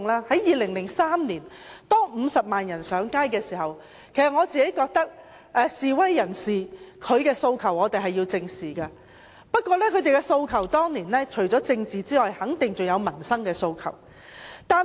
在2003年，當50萬人上街時，我覺得示威人士的訴求是需要正視的，但他們當年除了有政治訴求外，肯定還有民生訴求。